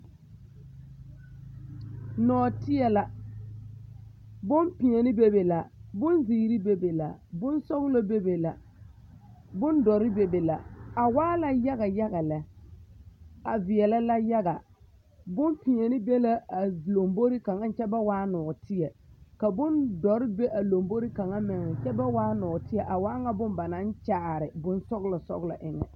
Nɔɔteɛ la bompeɛne bebe la bonziiri bebe la bonsɔɡelɔ bebe la bondɔre bebe la a waa la yaɡayaɡa lɛ a veɛla yaɡa bompeɛle be la a lambori kaŋa kyɛ ba waa nɔɔteɛ ka bondɔre be a lambori kaŋa meŋ kyɛ ba waa nɔɔteɛ a waa ŋa bone ba naŋ kyaare bonsɔɡelɔsɔɡelɔ eŋɛ.